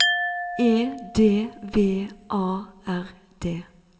E D V A R D